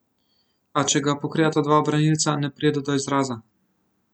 A če ga pokrivata dva branilca, ne pride do izraza.